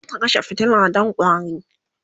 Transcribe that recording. zata kashe fitila Dan ƙwari